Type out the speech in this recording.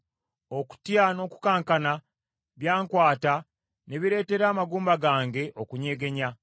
okutya n’okukankana byankwata ne bireetera amagumba gange okunyegenya.